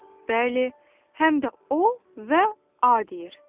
Bəli, həm də o və a deyir.